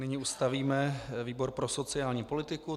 Nyní ustavíme výbor pro sociální politiku.